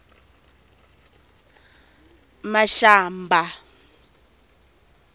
mashamba